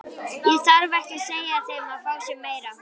Það þarf ekki að segja þeim að fá sér meira.